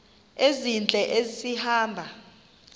ezintle esi hamba